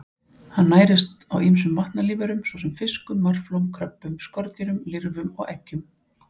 Hann nærist á ýmsum vatnalífverum svo sem fiskum, marflóm, kröbbum, skordýrum, lirfum og eggjum.